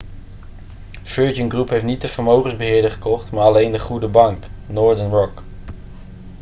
virgin group heeft niet de vermogensbeheerder gekocht maar alleen de goede bank' northern rock